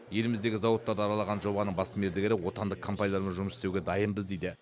еліміздегі зауыттарды аралаған жобаның бас мердігері отандық компаниялармен жұмыс істеуге дайынбыз дейді